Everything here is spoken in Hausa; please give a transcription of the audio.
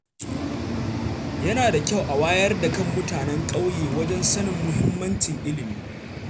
Yana da kyau a wayar da kan mutanen ƙyauye wajen sanin muhimmancin ilimi.